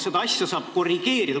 Seda asja saab korrigeerida.